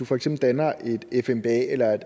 for eksempel danner et fmba eller et